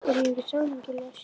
Er hann ekki samningslaus?